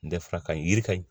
N tɛ fara ka ɲi yiri ka ɲi